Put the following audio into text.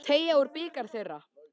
Og þú munt teyga úr bikar þeirra.